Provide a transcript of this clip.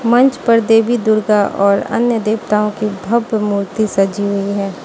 मंच पर देवी दुर्गा और अन्य देवताओं की भव्य मूर्ति सजी हुई है।